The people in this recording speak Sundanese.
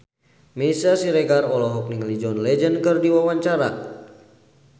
Meisya Siregar olohok ningali John Legend keur diwawancara